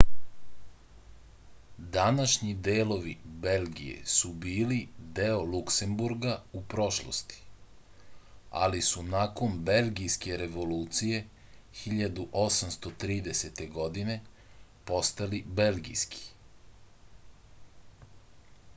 današnji delovi belgije su bili deo luksemburga u prošlosti ali su nakon belgijske revolucije 1830. godine postali belgijski